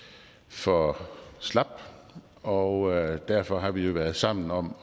for slap og derfor har vi jo været sammen om